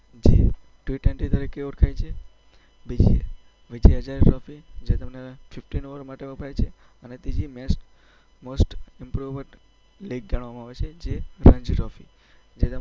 જે T-twenty તરીકે ઓળખાય છે. બીજી વિજય હઝારે ટ્રોફી જે તમને પચાસ ઓવર માટે વપરાય છે. અને ત્રીજી મોસ્ટ ઈમ્પોર્ટન્ટ લીગ ગણવામાં આવે છે જે રણજી ટ્રોફી.